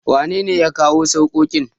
wanene ya kawo sarkokin?